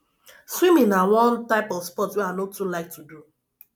swimming na one type of sport wey i no too like to do